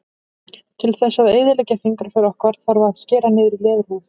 Til þess að eyðileggja fingraför okkar þarf að skera niður í leðurhúð.